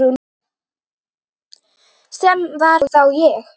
Sem var þá ég.